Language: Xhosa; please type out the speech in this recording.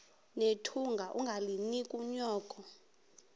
nethunga ungalinik unyoko